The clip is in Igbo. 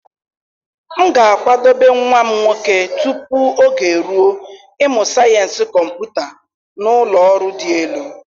M ga-akwadebe nwa m nwoke tupu oge eruo ịmụ sayensị kọmputa na ụlọ ọrụ dị elu.